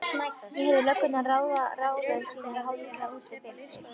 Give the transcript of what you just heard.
Ég heyrði löggurnar ráða ráðum sínum hálfhvíslandi úti fyrir.